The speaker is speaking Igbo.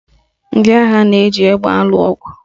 Ndị agha na-eji egbe alụ ọgụ